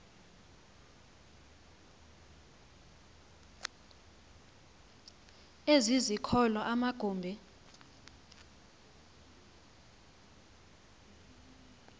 ezi zikolo amagumbi